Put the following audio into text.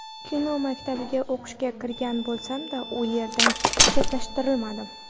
Kino maktabiga o‘qishga kirgan bo‘lsamda, u yerdan chetlashtirildim.